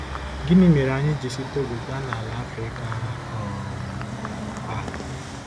Gịnị mere anyị ji si Togo gaa nala Africa um a?